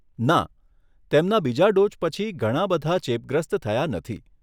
ના, તેમના બીજા ડોઝ પછી ઘણા બધા ચેપગ્રસ્ત થયા નથી.